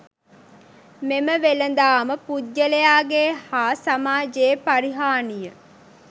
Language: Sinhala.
මෙම වෙළෙදාම පුද්ගලයාගේ හා සමාජයේ පරිහානිය